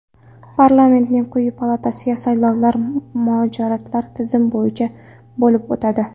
Parlamentning quyi palatasiga saylovlar majoritar tizim bo‘yicha bo‘lib o‘tadi.